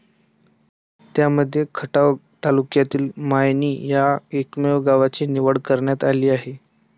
त्यांमध्ये खटाव तालुक्यातील मायणी या एकमेव गावाची निवड करण्यात आली आहे.